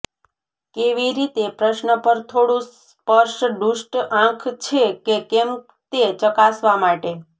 કેવી રીતે પ્રશ્ન પર થોડું સ્પર્શ દુષ્ટ આંખ છે કે કેમ તે ચકાસવા માટે